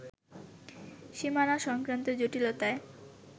সীমানা সংক্রান্ত জটিলতায়